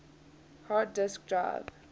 hard disk drive